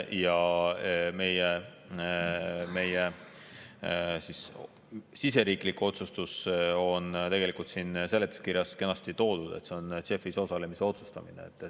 Ja meie siseriiklik otsustus on tegelikult siin seletuskirjas kenasti toodud, et see on JEF‑is osalemise otsustamine.